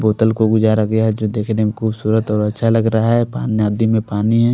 बोतल को गुजारा गया है जो देखने में खूबसूरत और अच्छा लग रहा है पा नदी में पानी है।